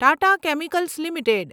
Tata Chemicals limited